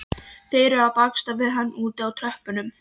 Þeir eru að baksa við hann úti á tröppunum.